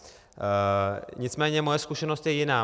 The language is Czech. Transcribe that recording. Nicméně moje zkušenost je jiná.